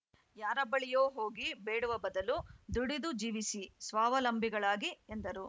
ಯಾರ ಬಳಿಯೋ ಹೋಗಿ ಬೇಡುವ ಬದಲು ದುಡಿದು ಜೀವಿಸಿ ಸ್ವಾವಲಂಭಿಗಳಾಗಿ ಎಂದರು